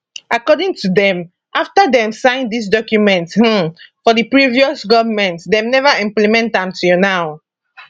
according to dem afta dem sign dis document um for di previous goment dem neva implement am till now